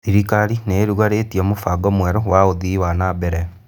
Thirkarĩ nĩ ĩrugũrĩtie mũbango mwerũ wa ũthii wa nambere